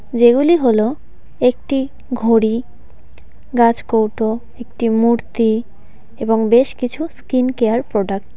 যেগুলি হল একটি ঘড়ি গাছকৌটো একটি মূর্তি এবং বেশ কিছু স্কিন কেয়ার প্রোডাক্ট .